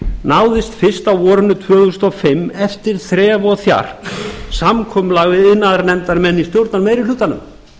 náðist fyrst á vorinu tvö þúsund og fimm eftir þref og þjark samkomulag við iðnaðarnefndarmenn í stjórnarmeirihlutanum